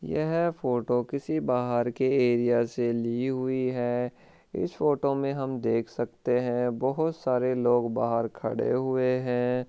यह फोटो किसी बाहर के एरिया से ली हुई है इस फोटो में हम देख सकते है बहुत सारे लोग बाहर खड़े हुए है।